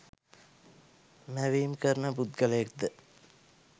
මැවීම් කරන පුද්ගලයෙක්ද?